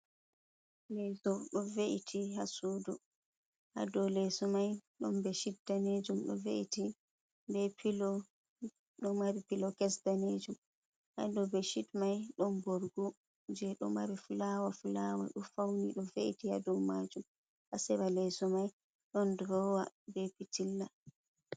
Leso doh ve’iti ha sudu, haɗo leso mai ɗon ɓesshid ɗanejum do ve’iti be pilo do mari pilo kes ɗanejum. Haɗo ɓeshid mai don borguo je ɗo mari fulawa-fulawa doh fauni do ve’iti ya do majum hasera leso mai don durowa ɓe pitilla.